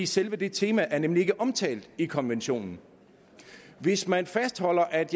selve det tema er nemlig ikke omtalt i konventionen hvis man fastholder at